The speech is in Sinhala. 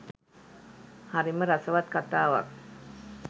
හරිම රසවත් කතාවක්